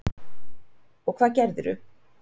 Og hvað gerðirðu?